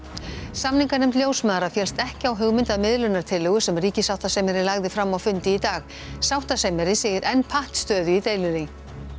samninganefnd ljósmæðra féllst ekki á hugmynd að miðlunartillögu sem ríkissáttasemjari lagði fram á fundi í dag sáttasemjari segir enn pattstöðu í deilunni